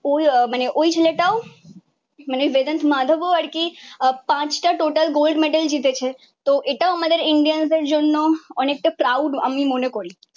আহ মানে ঐ ছেলেটাও মানে বেদান্ত মাধবও আরকি পাঁচটা total gold medal জিতেছে। তো এটাও আমাদের ইন্ডিয়ান্সের জন্য অনেকটা প্রাউড আমি মনে করি।